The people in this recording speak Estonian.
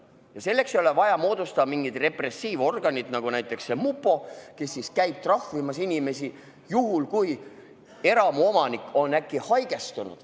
Ja selleks ei ole vaja moodustada mingeid repressiivorganeid, nagu näiteks mupo, kes käib trahvimas inimesi ka juhul, kui eramuomanik on äkki haigestunud.